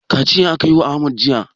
Kaciya aka yi wa Ahmad jiya.